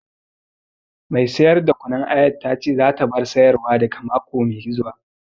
Mai siyar da kunun ayar ta ce za ta bar sayar wa daga mako mai zuwa